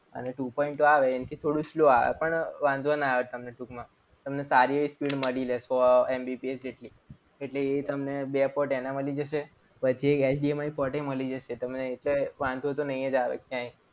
આને two point o આવે એ થોડું slow આવે પણ વાંધો ના આવે. તમને ટૂંકમાં તમને સારી એવી speed મળી રહેશે. સો MBPS જેટલી એટલે એ તમને બે port એના મળી જશે. પછી એક HDMI port મળી જશે તમને એટલે તમને વાંધો તો નહીં જ આવે ક્યાંય.